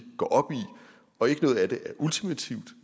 går op i og ikke noget af det er ultimativt